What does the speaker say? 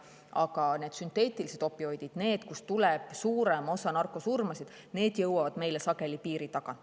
Aga sünteetilised opioidid põhjustavad suurema osa narkosurmadest ja need jõuavad meile sageli piiri tagant.